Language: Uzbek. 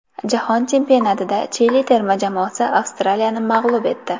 Jahon chempionatida Chili terma jamoasi Avstraliyani mag‘lub etdi.